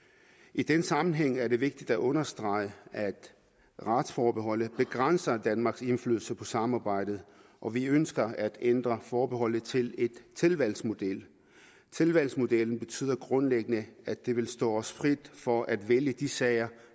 i den sammenhæng er det vigtigt at understrege at retsforbeholdet begrænser danmarks indflydelse på samarbejdet og vi ønsker at ændre forbeholdet til en tilvalgsmodel tilvalgsmodellen betyder grundlæggende at det vil stå os frit for at vælge de sager